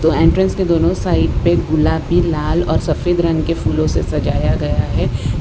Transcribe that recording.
तो एंट्रेंस के दोनों साइड पे गुलाबी लाल और सफेद रंग के फूलों से सजाया गया है।